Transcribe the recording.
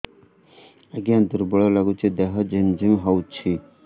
ଆଜ୍ଞା ଦୁର୍ବଳ ଲାଗୁଚି ଦେହ ଝିମଝିମ ହଉଛି